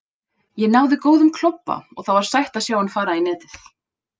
Ég náði góðum klobba og það var sætt að sjá hann fara í netið.